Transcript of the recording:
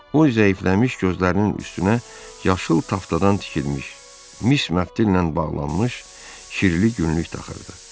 O zəifləmiş gözlərinin üstünə yaşıl taftadan tikilmiş, mis məftillə bağlılınmış kirli günlük taxırdı.